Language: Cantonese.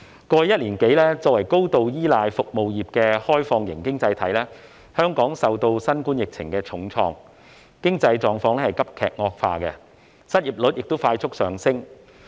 過去一年多，香港作為高度依賴服務業的開放型經濟體，受新冠疫情重創，經濟狀況急劇惡化，失業率亦快速上升。